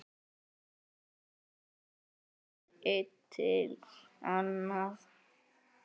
Þá var útlitið annað.